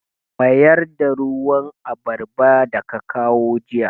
Mayar da ruwan abarba da ka kawo jiya!